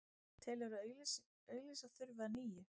Telur að auglýsa þurfi að nýju